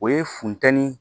O ye funteni